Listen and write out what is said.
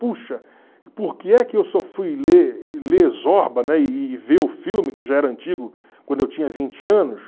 Puxa, por que é que eu só fui ler ler Zorba, né e e ver o filme, que já era antigo, quando eu tinha vinte anos?